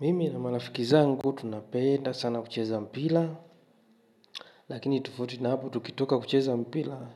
Mimi na marafiki zangu tunapenda sana kucheza mpira lakini tofauti na hapo tukitoka kucheza mpira